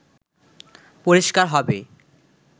পরিষ্কার হবে